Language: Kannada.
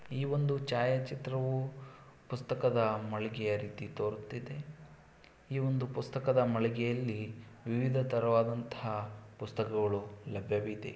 ಈ ಒಂದು ಛಾಯಾ ಚಿತ್ರವು ಪುಸ್ತಕದ ಮಳಿಗೆಯ ರೀತಿ ತೋರುತಿದೆ ಈ ಒಂದು ಪುಸ್ತಕದ ಮಳಿಗೆಯಲ್ಲಿ ವಿವಿಧ ತರವಾದಂತಹ ಪುಸ್ತಕಗಳು ಲಭ್ಯವಿದೆ.